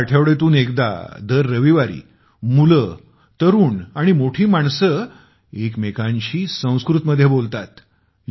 येथे आठवड्यातून एकदा दर रविवारी मुले तरुण आणि मोठी माणसे एकमेकांशी संस्कृतमध्ये बोलतात